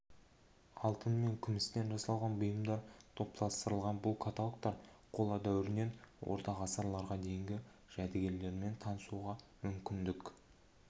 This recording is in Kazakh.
алтын мен күмістен жасалған бұйымдар топтастырылған бұл каталогтар қола дәуірінен орта ғасырларға дейінгі жәдігерлермен танысуға мүмкіндік